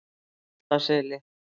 Holtaseli